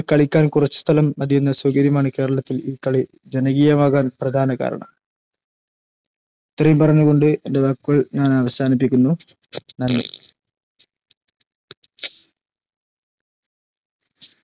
കളിക്കാൻ കുറച്ചു സ്ഥലം മതിയെന്ന സൗകര്യമാണ് കേരളത്തിൽ ഈ കളി ജനകീയമാകാൻ പ്രധാന കാരണം ഇത്രയും പറഞ്ഞ് കൊണ്ട് എൻറെ വാക്കുകൾ ഞാൻ അവസാനിപ്പിക്കുന്നു നന്ദി